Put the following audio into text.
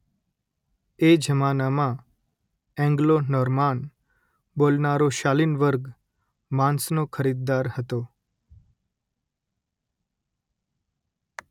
એ જમાનામાં એન્ગ્લો-નોર્માન બોલનારો શાલિન વર્ગ માંસનો ખરીદદાર હતો